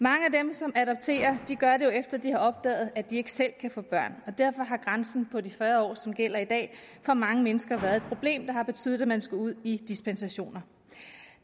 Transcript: som adopterer gør det jo efter de har opdaget at de ikke selv kan få børn og derfor har grænsen på de fyrre år som gælder i dag for mange mennesker været et problem der har betydet at man skulle ud i dispensationer